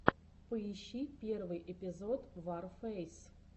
поищи первый эпизод варфэйс